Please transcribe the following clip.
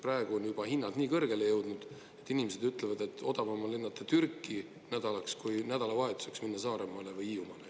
Praegu on juba hinnad nii kõrgele jõudnud, et inimesed ütlevad, et odavam on lennata Türki nädalaks, kui nädalavahetuseks minna Saaremaale või Hiiumaale.